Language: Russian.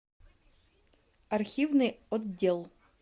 архивный отдел